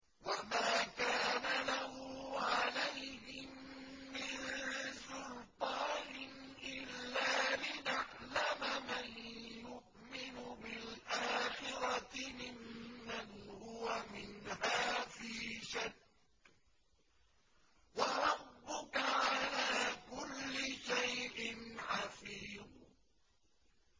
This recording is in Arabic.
وَمَا كَانَ لَهُ عَلَيْهِم مِّن سُلْطَانٍ إِلَّا لِنَعْلَمَ مَن يُؤْمِنُ بِالْآخِرَةِ مِمَّنْ هُوَ مِنْهَا فِي شَكٍّ ۗ وَرَبُّكَ عَلَىٰ كُلِّ شَيْءٍ حَفِيظٌ